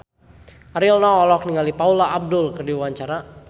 Ariel Noah olohok ningali Paula Abdul keur diwawancara